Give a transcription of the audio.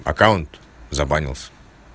аккаунт забанился